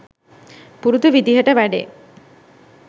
පුරුදු විදිහට වැඩේ